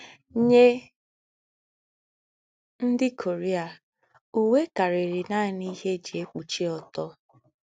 Nyé ndí́ Korea, úwé kárìí nání íhé è jí èkpúchí ọ́tọ́.